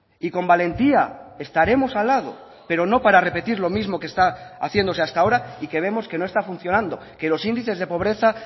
y con valentía estaremos al lado pero no para repetir lo mismo que está haciéndose hasta ahora y que vemos que no está funcionando que los índices de pobreza